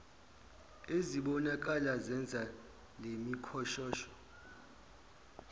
ezibonakala zenza lemikhoshosho